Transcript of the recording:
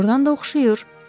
Doğrudan da oxşayır.